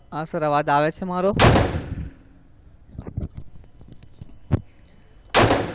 હા sir અવાજ આવે છે મારો?